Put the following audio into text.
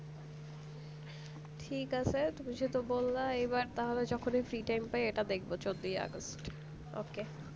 ঠিক আছে তু্মি যেহেতু বললে আমি যখনি free time পাই এটা দেখবো চোদ্দই অগাস্ট okay